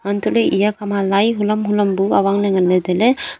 antoh le eya khama lai hulam hulam bu awang le nganle taile.